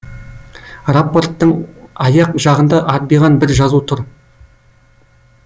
рапорттың аяқ жағында арбиған бір жазу тұр